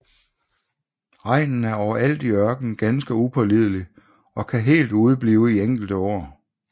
Regnen er overalt i ørkenen ganske upålidelig og kan helt udeblive i enkelte år